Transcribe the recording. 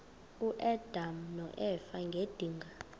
uadam noeva ngedinga